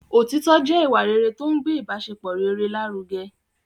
Òtitọ́ jẹ́ ìwà rere tó ń gbé ibasepọ rere lárugẹ